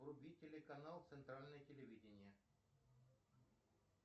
вруби телеканал центральное телевидение